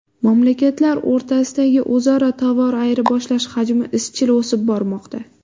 Mamlakatlar o‘rtasidagi o‘zaro tovar ayirboshlash hajmi izchil o‘sib bormoqda.